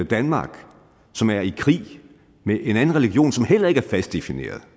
danmark som er i krig med en anden religion som heller ikke er fast defineret